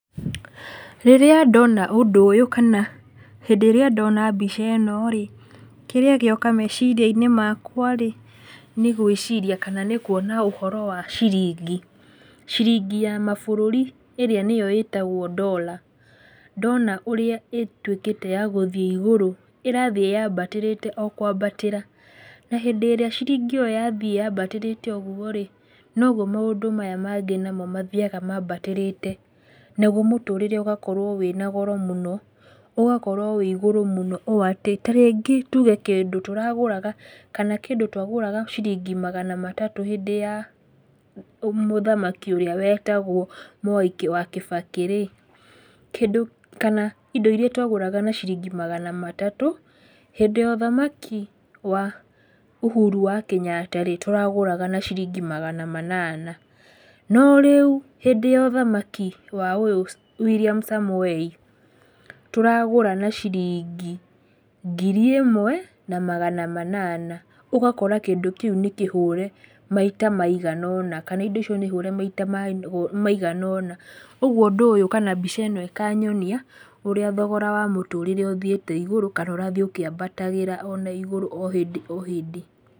Rĩrĩa ndona ũndũ ũyũ kana hĩndĩ ĩrĩa ndona mbica ĩno rĩ, kĩrĩa gĩoka meciria-inĩ makwa rĩ, nĩ gwĩciria kana nĩ kuona ũhoro wa ciringi, ciringi ya mabũrũri ĩrĩa nĩyo ĩtagwo dollar ndona ũrĩa ĩtuĩkĩte ya gũthiĩ igũrũ, ĩrathiĩ yambatĩrĩte o kwambatĩra, na hĩndĩ ĩrĩa ciringi ĩyo yathiĩ yambatĩrĩte ũguo rĩ, noguo maũndũ maya mangĩ mathiaga mambatĩrĩte, naguo mũtũrĩre ũgakorwo wĩna goro mũno, ũgakorwo wĩ igũrũ mũno ũũ atĩ, tarĩngĩ tuge kĩndũ tũragũraga, kana kĩndũ twagũraga ciringi magana matatũ hĩndĩ ya mũthamaki ũrĩa wetagwo Mwai wa Kĩbakĩ rĩ, kĩndũ kana indo iria twagũraga na ciringi magana matatũ, hĩndĩ ya ũthamaki wa Ũhuru wa Kenyatta rĩ, tũragũraga na ciringi magana manana, no rĩu hĩndĩ ya ũthamaki wa ũyũ William Samoei tũragũra na ciringi ngiri ĩmwe na magana manana, ũgakora kĩndũ kĩu nĩ kĩhure maita maigana ũna, kana indo icio nĩ hũre maita maigana ũna, ũguo ũndũ ũyũ kana mbica ĩno ĩkanyonia ũrĩa thogora wa mũtũrĩre ũthiĩte igũrũ, kana ũrathiĩ ũkĩambatagĩra ona igũrũ o hĩndĩ o hĩndĩ.